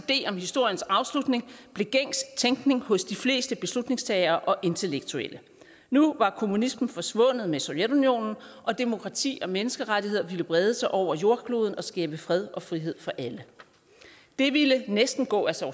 idé om historiens afslutning blev gængs tænkning hos de fleste beslutningstagere og intellektuelle nu var kommunismen forsvundet med sovjetunionen og demokrati og menneskerettigheder ville brede sig over jordkloden og skabe fred og frihed for alle det ville næsten gå af sig